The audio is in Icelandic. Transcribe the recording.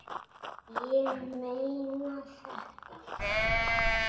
Ég meina þetta.